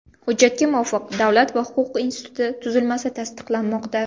Hujjatga muvofiq Davlat va huquq instituti tuzilmasi tasdiqlanmoqda.